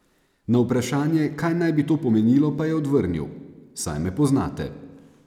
Na vprašanje, kaj naj bi to pomenilo, pa je odvrnil: "Saj me poznate.